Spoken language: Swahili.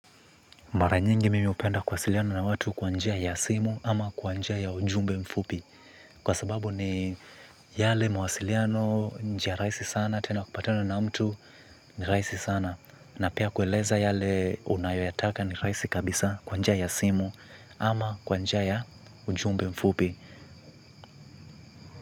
Mara nyingi mimi hupenda kuwasiliana na watu kwa njia ya simu ama kwa njia ya ujumbe mfupi. Kwa sababu ni yale mawasiliano njia rahisi sana tena kupatana na mtu ni rahisi sana. Na pia kueleza yale unayoyataka ni rahisi kabisa kwa njia ya simu ama kwanjia ya ujumbe mfupi.